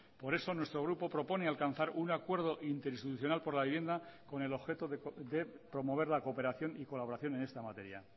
por eso nuestro grupo propone alcanzar un acuerdo interinstitucional por la vivienda con el objeto de promover la cooperación y colaboración en esta materia